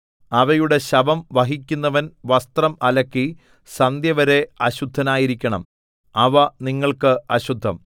അവയുടെ ശവം വഹിക്കുന്നവൻ വസ്ത്രം അലക്കി സന്ധ്യവരെ അശുദ്ധനായിരിക്കണം അവ നിങ്ങൾക്ക് അശുദ്ധം